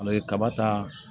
A bɛ kaba ta